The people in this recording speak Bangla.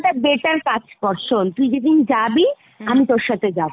better কাজ কর শোন তুই যেদিন যাবি আমিও তোর সাথে যাবো ।